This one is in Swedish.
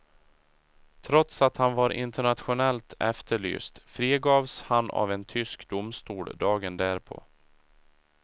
Trots att han var internationellt efterlyst frigavs han av en tysk domstol dagen därpå.